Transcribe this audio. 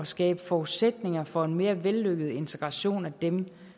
skabe forudsætninger for en mere vellykket integration af dem